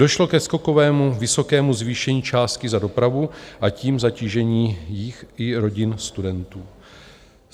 Došlo ke skokovému vysokému zvýšení částky za dopravu, a tím zatížení jich i rodin studentů.